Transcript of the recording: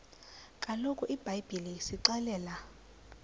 kaloku ibhayibhile isixelela